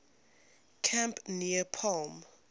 camp near palm